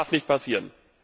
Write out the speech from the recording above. Das darf nicht passieren!